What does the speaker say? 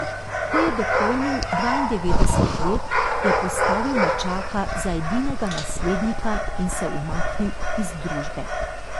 Ko je dopolnil dvaindevetdeset let, je postavil nečaka za edinega naslednika in se umaknil iz družbe.